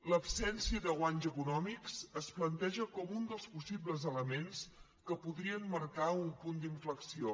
l’absència de guanys econòmics es planteja com un dels possibles elements que podrien marcar un punt d’inflexió